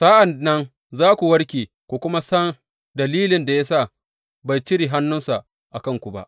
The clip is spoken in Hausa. Sa’an nan za ku warke ku kuma san dalilin da ya sa bai cire hannunsa a kanku ba.